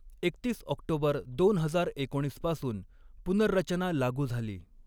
एकतीस ऑक्टोबर दोन हजार एकोणीस पासून पुनर्रचना लागू झाली.